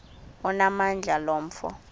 onamandla lo mfo